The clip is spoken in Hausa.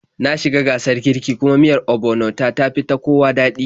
Na shi ga gasar kiirki, kuma miyar ogbono ta, tafi ta kowa daɗi